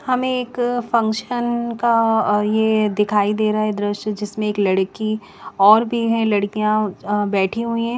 हमे एक फंगक्शन का अ ये दिखाई दे रहे है दृश्य जिसमे एक लड़की और भी है लड़कियां अ बैठी हुई है ।